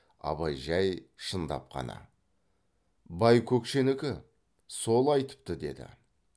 абай жай шындап қана байкөкшенікі сол айтыпты деді